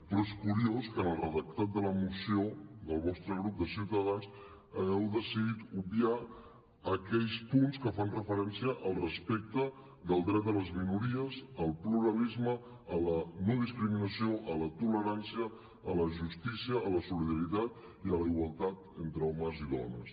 però és curiós que en el redactat de la moció del vostre grup de ciutadans hagueu decidit obviar aquells punts que fan referència al respecte del dret a les minories al pluralisme a la no discriminació a la tolerància a la justícia a la solidaritat i a la igualtat entre homes i dones